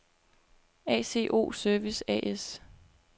ACO Service A/S